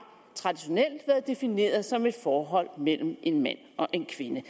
traditionelt været defineret som et forhold mellem en mand og en kvinde